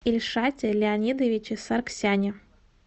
ильшате леонидовиче саргсяне